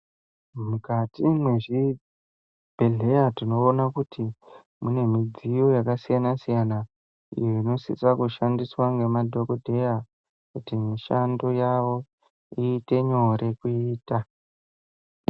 Mukati mezvibhedhlera tinoona kuti mune midziyo yakasiyana siyana inoshandiswa nemadhokodheya kuti mishando yavo iite nyore kuita.